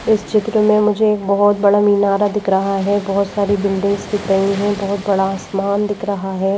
इस चित्र में मुझे एक बहुत बड़ा मीनारा दिख रहा है बहुत सारी बिल्डिंग्स दिख रही हैं बहुत बड़ा आसमान दिख रहा है।